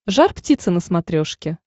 жар птица на смотрешке